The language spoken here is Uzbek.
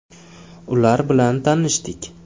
Ular bilan tanishdik.